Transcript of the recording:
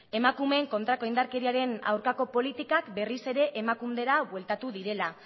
emakumeen kontrako indarkeriaren aurkako politikak berriz ere emakundera bueltatu direla